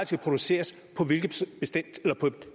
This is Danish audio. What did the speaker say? skal produceres på